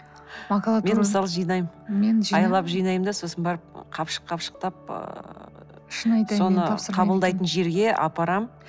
мен мысалы жинаймын айлап жинаймын да сосын барып қапшық қапшықтап ыыы соны қабылдайтын жерге апарамын